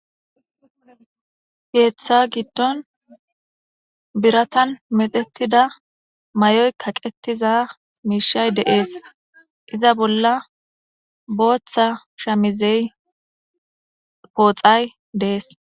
Heeththa giddon biratan metetida may'oy kaqetiza miishay deees iza bolla booththa shamizey pooxay dees.